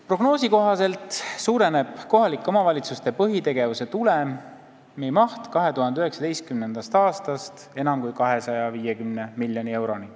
Prognoosi kohaselt suureneb kohaliku omavalitsuste põhitegevuse tulemi maht 2019. aastast enam kui 250 miljoni euroni.